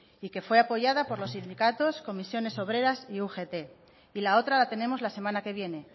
y que fue apoyada por los sindicatos comisiones obreras y ugt y la otra la tenemos la semana que viene